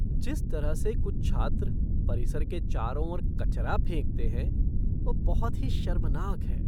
जिस तरह से कुछ छात्र परिसर के चारों ओर कचरा फेंकते हैं, वह बहुत ही शर्मनाक है।